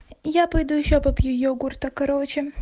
я пойду ещё попью йогурта короче